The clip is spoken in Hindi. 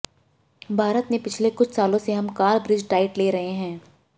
भारत में पिछले कुछ सालों से हम कार्ब रिच डाइट ले रहे हैं